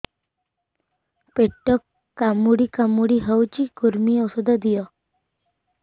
ପେଟ କାମୁଡି କାମୁଡି ହଉଚି କୂର୍ମୀ ଔଷଧ ଦିଅ